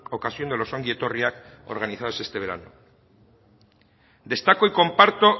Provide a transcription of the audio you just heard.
ocasión de los ongietorriak organizados este verano destaco y comparto